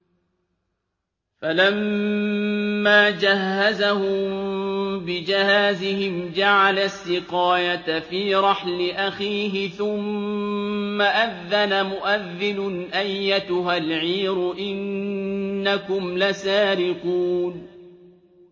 فَلَمَّا جَهَّزَهُم بِجَهَازِهِمْ جَعَلَ السِّقَايَةَ فِي رَحْلِ أَخِيهِ ثُمَّ أَذَّنَ مُؤَذِّنٌ أَيَّتُهَا الْعِيرُ إِنَّكُمْ لَسَارِقُونَ